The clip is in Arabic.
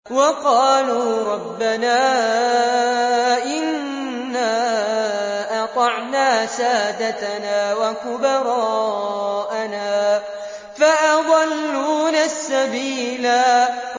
وَقَالُوا رَبَّنَا إِنَّا أَطَعْنَا سَادَتَنَا وَكُبَرَاءَنَا فَأَضَلُّونَا السَّبِيلَا